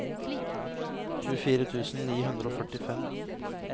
tjuefire tusen ni hundre og førtifem